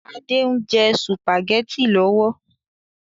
Adé ń jẹ sùpàgétì lọ́wọ́